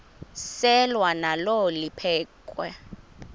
selwa nalo liphekhwe